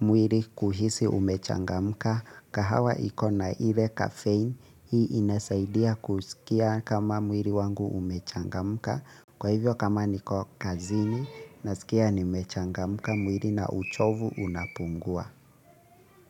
mwili kuhisi umechangamka, kahawa ikona ile kafein hii inasaidia kusikia kama mwili wangu umechangamka, kwa hivyo kama niko kazini nasikia nimechangamka mwili na uchovu unapungua.